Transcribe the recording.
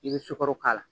I bɛ sukaro k'a la